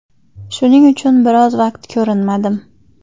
Shuning uchun biroz vaqt ko‘rinmadim.